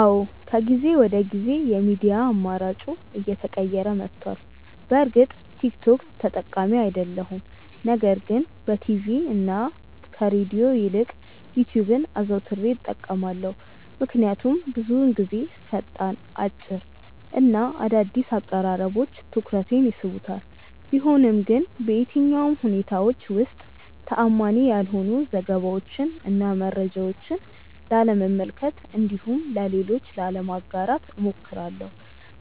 አዎ ከጊዜ ወደ ጊዜ የሚዲያ አማራጬ እየተቀየረ መቷል። በእርግጥ ቲክ ቶክ ተጠቃሚ አይደለሁም ነገር ግን በቲቪ እና ከሬድዮ ይልቅ ዩትዩብን አዘውትሬ እጠቀማለሁ። ምክንያቱም ብዙውን ጊዜ ፈጣን፣ አጭር እና አዳዲስ አቀራረቦች ትኩረቴን ይስቡታል። ቢሆንም ግን በየትኛውም ሁኔታዎች ውስጥ ተአማኒ ያልሆኑ ዘገባዎችን እና መረጃዎችን ላለመመልከት እንዲሁም ለሌሎች ላለማጋራት እሞክራለሁ።